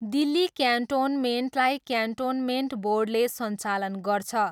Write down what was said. दिल्ली क्यान्टोनमेन्टलाई क्यान्टोनमेन्ट बोर्डले सञ्चालन गर्छ।